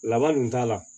Laban dun t'a la